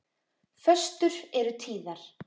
Föstur eru tíðar.